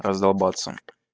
раздолбаться